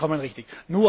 Vollkommen richtig!